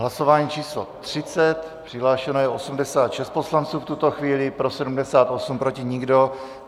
Hlasování číslo 30, přihlášeno je 86 poslanců v tuto chvíli, pro 78, proti nikdo.